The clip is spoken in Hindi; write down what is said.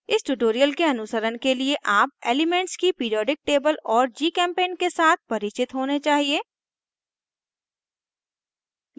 इस ट्यूटोरियल के अनुसरण के लिए आप एलीमेन्ट्स की पिरीऑडिक टेबल और gchempaint के साथ परिचित होने चाहिए